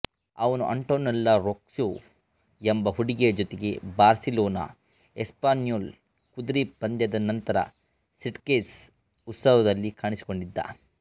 ಅವನು Antonella Roccuzzo ಎಂಬ ಹುಡುಗಿಯ ಜೊತೆಗೆ ಬಾರ್ಸಿಲೋನಾಎಸ್ಪಾನ್ಯೋಲ್ ಕುದುರೆ ಪಂದ್ಯದ ನಂತರ ಸಿಟ್ಗೆಸ್ ಉತ್ಸವದಲ್ಲಿ ಕಾಣಿಸಿಕೊಂಡಿದ್ದ